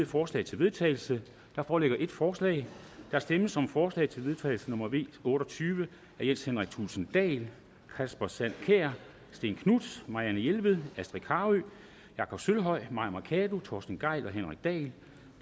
forslag til vedtagelse der foreligger et forslag der stemmes om forslag til vedtagelse nummer v otte og tyve af jens henrik thulesen dahl kasper sand kjær stén knuth marianne jelved astrid carøe jakob sølvhøj mai mercado torsten gejl og henrik dahl